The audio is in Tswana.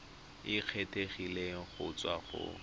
e kgethegileng go tswa go